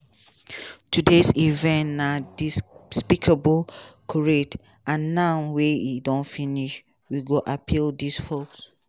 today event na despicable charade and now wey e don finish we go appeal dis hoax".